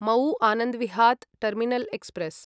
मऊ आनन्दविहात् terminal express